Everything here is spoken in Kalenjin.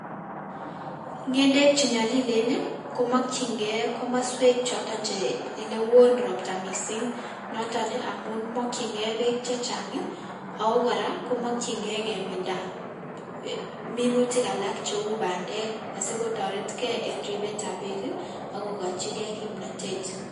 Ng'endek chenyolilen komokying'e komoswek choton chee elewon robtaa mising noton amun mokying'e beek chechang ako kora komokying'ee keminda minutik alak cheuu bandek asikotoretkee en ribeetab beek akokochikee kimnotet.